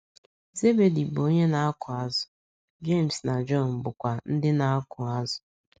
Zebedi bụ onye na - akụ azụ̀, Jems na Jọn bụkwa ndị na - akụ azụ̀.